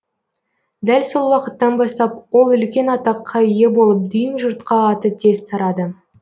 дәл сол уақыттан бастап ол үлкен атаққа ие болып дүйім жұртқа аты тез тарады